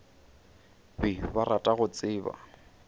be ba rata go tseba